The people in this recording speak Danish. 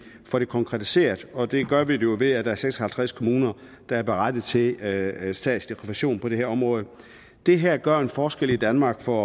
får det konkretiseret og det gør vi jo ved at der er seks og halvtreds kommuner der er berettiget til at få statsrefusion på det her område det her gør en forskel i danmark for